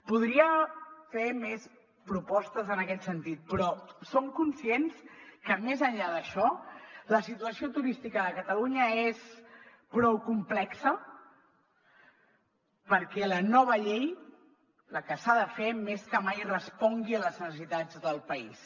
podria fer més propostes en aquest sentit però som conscients que més enllà d’això la situació turística de catalunya és prou complexa perquè la nova llei la que s’ha de fer més que mai respongui a les necessitats del país